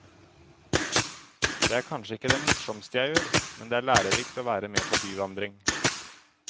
Det er kanskje ikke det morsomste jeg gjør, men det er lærerikt å være med på byvandring.